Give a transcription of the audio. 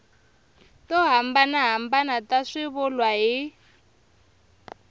to hambanahambana ta swivulwa hi